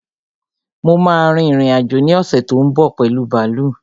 Mo ma rin ìrìn-àjò ní ọ̀ṣè tó ń bọ̀ pẹ̀lu bààlú